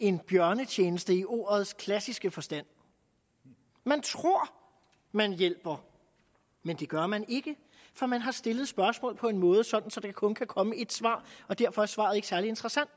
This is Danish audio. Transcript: en bjørnetjeneste i ordets klassiske forstand man tror man hjælper men det gør man ikke for man har stillet spørgsmålet på en måde så der kun kan komme et svar og derfor er svaret ikke særlig interessant